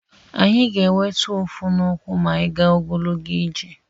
Anyị ga-enweta ụfụ n'ụkwụ ma anyị gaa ogologo ije.